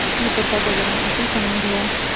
इस मित्रता का जन्म उसी समय हुआ